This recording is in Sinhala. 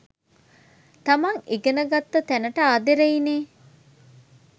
තමන් ඉගෙන ගත්ත තැනට ආදරෙයිනේ